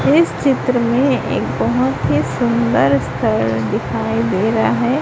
इस चित्र में एक बहोत ही सुंदर दिखाई दे रहा है।